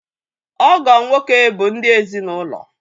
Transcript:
Ọgọ nwoke bụ ndị ezinaụlọ.